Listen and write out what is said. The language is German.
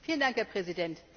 Herr Präsident!